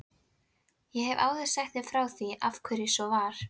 Ég hef áður sagt frá því af hverju svo var.